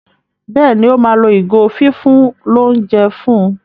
Béèni o ma ló ìgò fífún l'ounjẹ fún.